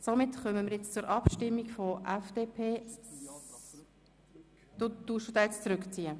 Grossrat Sommer, ziehen Sie Ihren Antrag zurück?